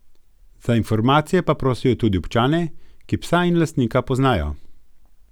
Za informacije pa prosijo tudi občane, ki psa in lastnika poznajo.